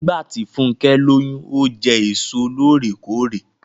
Nígbàtí Funkẹ lóyún, o jẹ èso lóòrèkóòrè.